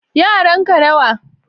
yaran ka nawa